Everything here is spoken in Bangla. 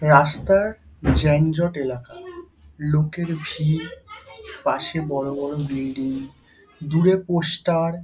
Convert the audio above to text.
রাস্তার য্যানজট এলাকা লোকের ভিড় পাশে বড় বড় বিল্ডিং দূরে পোস্টার-র --